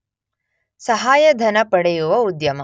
ಸಹಾಯಧನ ಪಡೆಯುವ ಉದ್ಯಮ